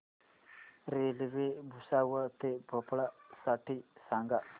railway Bhusawal ते भोपाळ साठी सांगा